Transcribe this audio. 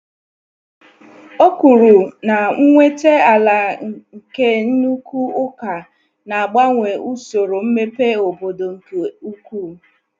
Ọ kwuru na nnweta ala nke nnukwu ụka na-agbanwe usoro mmepe obodo nke ukwuu.